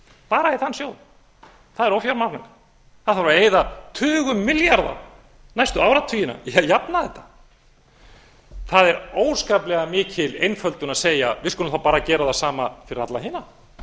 bara í þann sjóð það er ófjármagnað á þarf að eyða tugum milljarða næstu áratugina til að jafna þetta það er óskaplega mikil einföldun að segja við skulum þá bara gera það sama fyrir alla hina